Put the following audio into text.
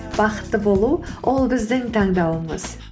бақытты болу ол біздің таңдауымыз